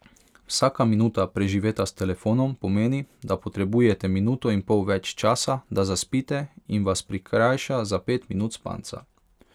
Vsaka minuta, preživeta s telefonom, pomeni, da potrebujete minuto in pol več časa, da zaspite, in vas prikrajša za pet minut spanca.